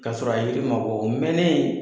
K'a sɔrɔ a yili ma bɔ o mɛnnen